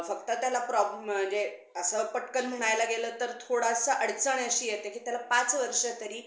फक्त त्याला problem असं पटकन म्हणायला गेलं तर थोडासा अडचण अशी येते की त्याला पाच वर्ष तरी